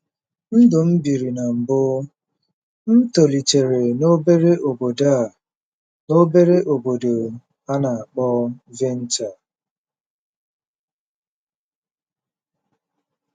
NDỤ M BIRI NA MBỤ: M tolitere n'obere obodo a n'obere obodo a na-akpọ Vintar.